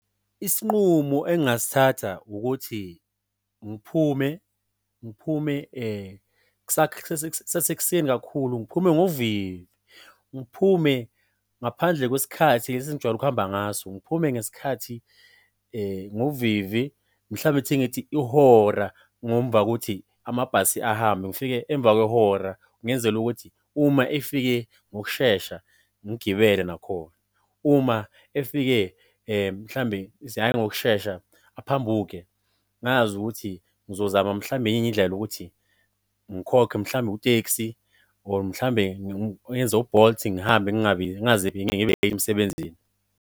Isinqumo engasithatha ukuthi ngiphume ngiphume kusasekuseni kakhulu, ngiphume ngovivi. Ngiphume ngaphandle kwesikhathi lesi engijwayele ukuhamba ngaso. Ngiphume ngesikhathi, ngovivi mhlambe ithi ngithi ihora ngomva kokuthi amabhasi ahambe, ngifike emva kwehora ngenzela ukuthi uma efike ngokushesha ngigibele nakhona. Uma efike mhlambe hhayi ngokushesha, aphambuke? Ngazi ukuthi ngizozama mhlambe enye indlela ukuthi ngikhokhe mhlambe ku-Teksi or mhlambe ngenze u-Bolt ngihambe ngingaze emsebenzini.